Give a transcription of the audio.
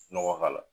Nɔgɔ k'a la